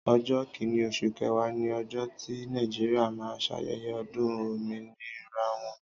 ọjọ kínní oṣù kẹwa ni ọjọ ti nejiria ma sayeye odun ominira wọn